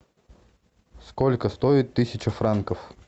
сколько стоит тысяча франков